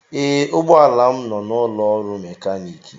Ee, ụgbọ ala m nọ n'ụlọ ọrụ mekaniki